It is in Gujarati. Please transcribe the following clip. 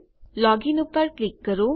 લોગીન પર ક્લિક કરો